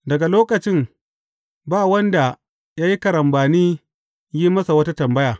Daga lokacin, ba wanda ya yi karambani yin masa wata tambaya.